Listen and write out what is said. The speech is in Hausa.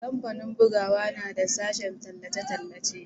kamfanin bugawa na da sashen tallace-tallace